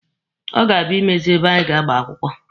Ọ ga-abịa imezi ebe anyị ga-agba akwụkwọ.